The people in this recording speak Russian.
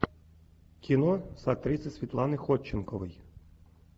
кино с актрисой светланой ходченковой